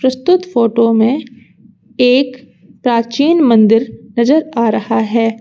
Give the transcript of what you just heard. प्रस्तुत फोटो में एक प्राचीन मंदिर नजर आ रहा है।